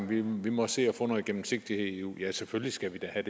vi må se at få noget gennemsigtighed i eu ja selvfølgelig skal vi da have